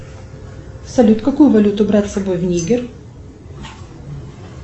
салют какую валюту брать с собой в нигер